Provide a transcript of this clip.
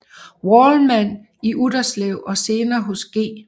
Wallmann i Utterslev og senere hos G